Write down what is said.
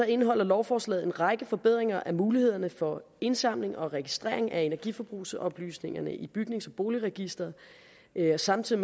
indeholder lovforslaget en række forbedringer af mulighederne for indsamling og registrering af energiforbrugsoplysningerne i bygnings og boligregistret det giver samtidig